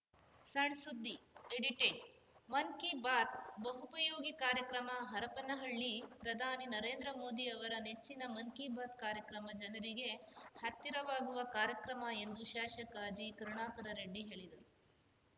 ಸಣ್‌ಸುದ್ದಿ ಎಡಿಟೆಡ್‌ ಮನ್‌ ಕಿ ಬಾತ್‌ ಬಹುಪಯೋಗಿ ಕಾರ್ಯಕ್ರಮ ಹರಪನಹಳ್ಳಿ ಪ್ರಧಾನಿ ನರೇದ್ರ ಮೋದಿ ಅವರ ನೆಚ್ಚಿನ ಮನ್‌ ಕಿ ಬಾತ್‌ ಕಾರ್ಯಕ್ರಮ ಜನರಿಗೆ ಹತ್ತಿರವಾಗುವ ಕಾರ್ಯಕ್ರಮ ಎಂದು ಶಾಸಕ ಜಿಕರುಣಾಕರ ರೆಡ್ಡಿ ಹೇಳಿದರು